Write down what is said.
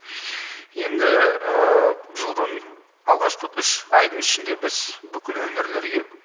енді жылдың алғашқы үш айдың ішінде біз бүкіл өңірлерге